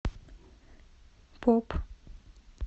поп